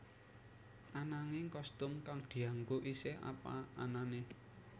Ananging kostum kang dianggo isih apa anané